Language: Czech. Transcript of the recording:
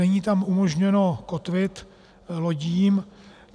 Není tam umožněno kotvit lodím.